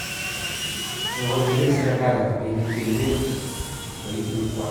kiichuchuch serikalit robinik che iben kiboitinik kwach